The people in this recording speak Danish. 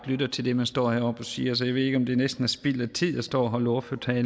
lyttet til det man står heroppe og siger så jeg ved ikke om det næsten er spild af tid at stå og holde ordførertaler